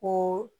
Ko